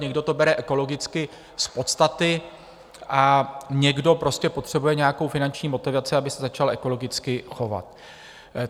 Někdo to bere ekologicky z podstaty a někdo prostě potřebuje nějakou finanční motivaci, aby se začal ekologicky chovat.